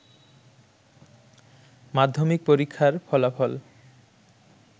মাধ্যমিক পরীক্ষার ফলাফল